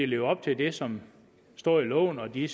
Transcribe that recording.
leve op til det som står i loven og de